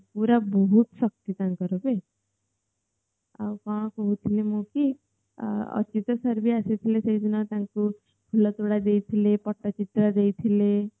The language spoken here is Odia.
ପୁରା ବହୁତ ଶକ୍ତି ତାଙ୍କର ତ ଆଉ କଣ କହୁଥିଲି ମୁଁ କି ଯୋଉଦିନ ତାଙ୍କୁ ଫୁଲତୋଡା ଦେଇଥିଲେ ପଟଚିତ୍ର ଦେଇଥିଲେ